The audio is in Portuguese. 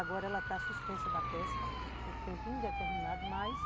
Agora ela está suspensa da pesca por tempo indeterminado, mas...